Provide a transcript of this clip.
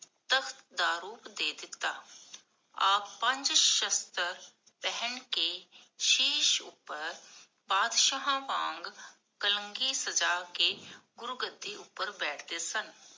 ਦਾ ਰੂਪ ਦੇ ਦਿੱਤਾ ਆਪ ਪੰਜ ਸ਼ਸਤ੍ਰ ਪਹਨ ਕੇ ਸ਼ੀਸ਼ ਉਪਰ ਬਾਦਸ਼ਾਹ ਵਾਂਗ ਕਲਾਂਗੀ ਸਜਾ ਕੇ, ਗੁਰੂ ਗੱਦੀ ਉਪਰ ਬੈਠਦੇ ਸਨ